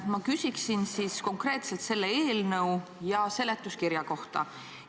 Ma küsin konkreetselt selle eelnõu ja seletuskirja kohta.